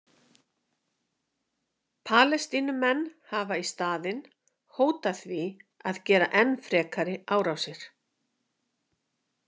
Palestínumenn hafa í staðinn hótað því að gera enn frekari árásir.